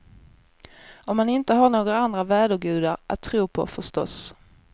Om man inte har några andra vädergudar att tro på, förstås.